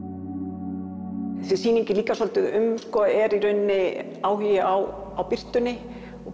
þessi sýning er líka svolítið um sko er í rauninni áhugi á birtunni og